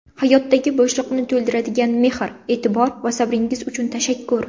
Hayotdagi bo‘shliqni to‘ldiradigan mehr, e’tibor va sabringiz uchun tashakkur.